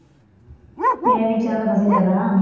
ஏன் வீட்டில இருந்தா பசிக்காதா?